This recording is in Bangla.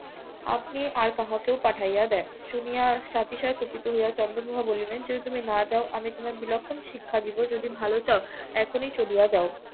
আপনি আর কাহাকেও পাঠাইয়া দেন শুনিয়া সাথে সাথে কুপিত হইয়া চন্দ্রপ্রভা বলিলেন যদি তুমি না যাও আমি বিলক্ষণ তোমায় শিক্ষা দেব যদি ভালো চাও এখনই চলিয়া যাও